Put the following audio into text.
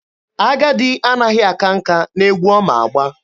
Agadi anaghị aka nka n'egwu ọ ma agba.